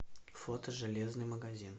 фото железный магазин